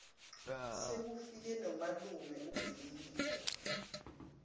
sekufike nomalume ubhilikida